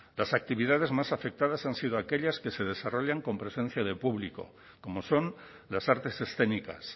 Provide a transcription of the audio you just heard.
las actividades más afectadas han sido aquellas que se desarrollan con presencia de público como son las artes escénicas